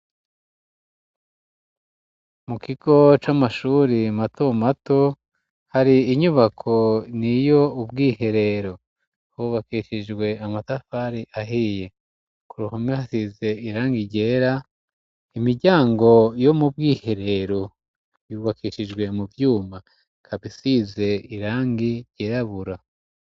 Mukigo c'amashuri mato mato hari inyubako ni yo ubwiherero hubakeshijwe amatafari ahiye ku ruhame hasize irangi igera imijyango yo mu bwiherero yubakeshijwe mu byuma kabisize irangi yirabura.